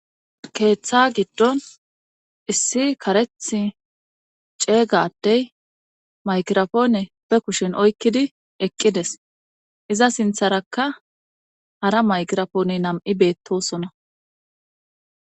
keeththa giddon issi karethi ceega adey makirofoone be kushen oykkidi eqqides iza sintharakka hara maykirafoone nam7i beettosona